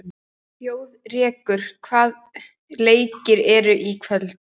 Þjóðrekur, hvaða leikir eru í kvöld?